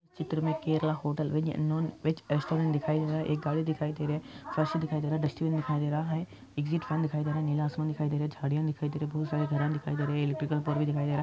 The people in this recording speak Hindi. यह Kerala hotel veg non veg restaurant दिखाई दे रहा हे एक गाड़ी दिखाई दे रही हे फर्शी दिखाई दे रहा एक डस्टबिन दिखाई दे रहा ह दिखाई देरहा हे नीला आसमान दिखाई दे रहा हे झाड़िया दिखाई दे रही हे बहोत सारे दिखाई दे रहे हे इलेक्ट्रिकल भी दिखाई दे रहा हे |